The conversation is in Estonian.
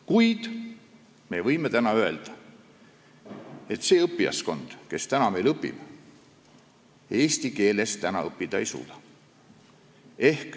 Kuid me võime öelda, et see õppijaskond, kes täna meil õpib, eesti keeles õppida ei suuda.